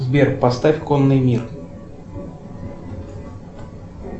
сбер поставь конный мир